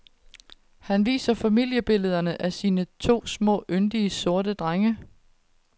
Han viser familiebillederne af sine to små yndige, sorte drenge.